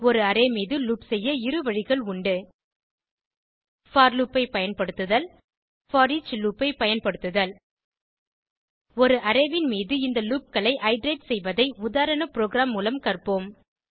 ஒரு அரே மீது லூப் செய்ய இரு வழிகள் உண்டு போர் லூப் ஐ பயன்படுத்துதல் போரிச் லூப் ஐ பயன்படுத்துதல் ஒரு அரே ன் மீது இந்த லூப் களை இட்டரேட் செய்வதை உதாரண ப்ரோகிராம் மூலம் கற்போம்